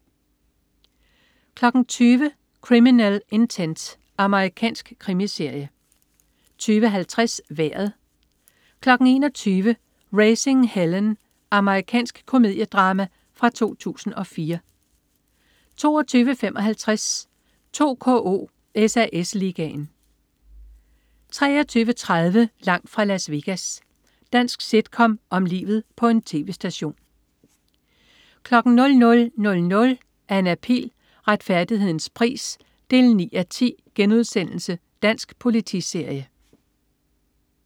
20.00 Criminal Intent. Amerikansk krimiserie 20.50 Vejret 21.00 Raising Helen. Amerikansk komediedrama fra 2004 22.55 2KO: SAS Ligaen 23.30 Langt fra Las Vegas. Dansk sitcom om livet på en tv-station 00.00 Anna Pihl. Retfærdighedens pris 9:10* Dansk politiserie